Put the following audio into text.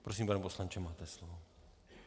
Prosím, pane poslanče, máte slovo.